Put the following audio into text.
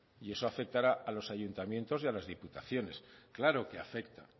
y eso afectará a los ayuntamientos y a las diputaciones claro que afecta